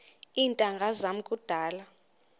iintanga zam kudala